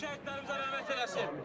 şəhidlərimizə rəhmət eləsin.